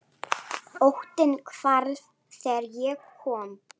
Óttinn hvarf þegar ég kom.